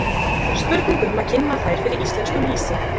Spurning um að kynna þær fyrir íslensku lýsi?